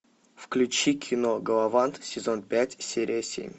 включи кино галавант сезон пять серия семь